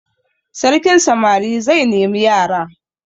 Sarkin samari zai nemi yara.